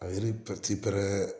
A ye ne